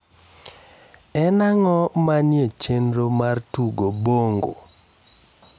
en ang`o manie chenro na mar tugo bongo